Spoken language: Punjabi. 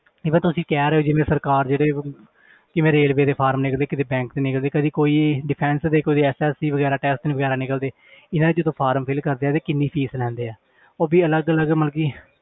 Even ਤੁਸੀਂ ਕਹਿ ਰਹੇ ਹੋ ਜਿਵੇਂ ਸਰਕਾਰ ਜਿਹੜੇ ਕਿਵੇਂ railway ਦੇ form ਨਿਕਲਦੇ ਕਿਤੇ bank 'ਚ ਨਿਕਲਦੇ ਕਦੇ ਕੋਈ defence ਦੇ ਕੋਈ SSC ਵਗ਼ੈਰਾ test ਵਗ਼ੈਰਾ ਨਿਕਲਦੇ ਇਹਨਾਂ ਦੇ ਜਦੋਂ form fill ਕਰਦੇ ਆ ਤੇ ਕਿੰਨੀ fees ਲੈਂਦੇ ਆ ਉਹ ਵੀ ਅਲੱਗ ਅਲੱਗ ਮਤਲਬ ਕਿ